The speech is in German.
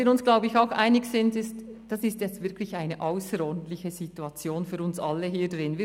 Wir sind uns, glaube ich, auch darin einig, dass es jetzt wirklich eine ausserordentliche Situation für uns alle hier drin ist.